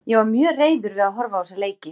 Ég varð mjög reiður við að horfa á þessa leiki.